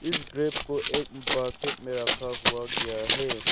इस ग्रेप को एक बकेट में रखा हुआ गया है।